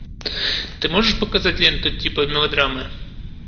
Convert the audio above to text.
ты можешь показать ленту типа мелодрамы